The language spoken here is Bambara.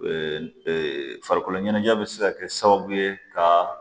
farikolo ɲɛnajɛ bɛ se ka kɛ sababu ye ka